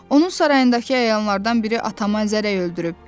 Onun sarayındakı əyanlardan biri atamı əzərək öldürüb.